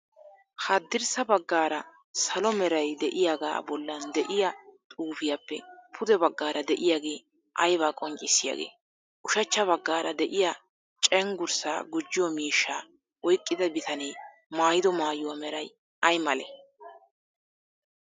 Haddirssa baggaara salo meray de"iyaagaa bollan de'iya xuufiyaappe pude baggaara diyaagee aybaa qonccissiyaagee? Ushachcha baggaara de'iya cenggurssaa gujjiyo miishshaa oyqqida bitanee maayido maayuwaa meray aymalee?